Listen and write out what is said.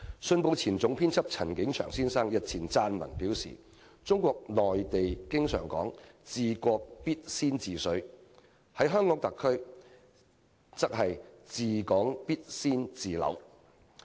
《信報》前總編輯陳景祥先生日前撰文表示，中國內地經常說"治國必先治水"；在香港特區，則是"治港必先治樓"。